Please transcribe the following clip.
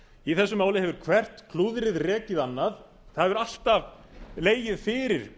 í þessu máli hefur hvert klúðrið rekið annað það hefur alltaf legið fyrir